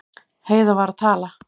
Heiða var að tala.